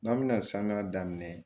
N'an bɛna saniya daminɛ